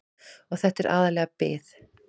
Og þetta er aðallega bið.